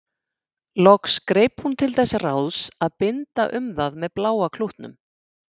Loks greip hún til þess ráðs að binda um það með bláa klútnum.